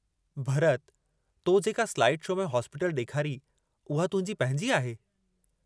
भरत तो जेका slide show में हॉस्पीटल डेखारी उहा तुहिंजी पंहिंजी आहे?